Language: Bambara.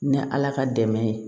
Ni ala ka dɛmɛ ye